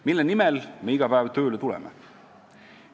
Mille nimel me iga päev tööle tuleme?